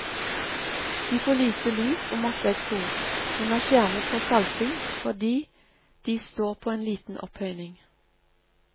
De får lite lys og masse eksos, men er skjermet for salting fordi de står på en liten opphøyning.